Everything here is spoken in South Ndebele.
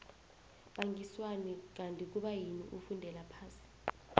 bangiswani kanti kubayini ufundela phasi